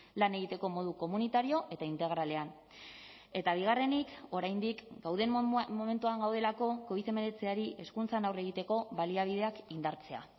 lan egiteko modu komunitario eta integralean eta bigarrenik oraindik gauden momentuan gaudelako covid hemeretziari hezkuntzan aurre egiteko baliabideak indartzea